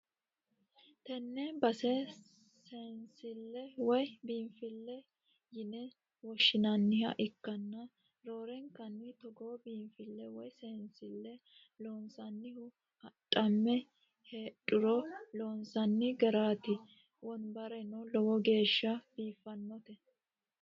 tenne base seensille woy biinfilleho yine woshshi'nanniha ikkanna, roorenkanni togoo biinfille woy seensille loonsannihu adhamme heedhuro loonsanni garaati, wonabareno lowo geeshsha biiffannote.